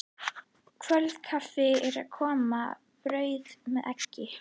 Kvöldkaffið er að koma, brauð með eggi.